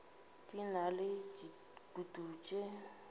di na le dikutu tše